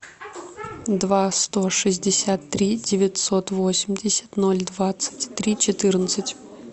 два сто шестьдесят три девятьсот восемьдесят ноль двадцать три четырнадцать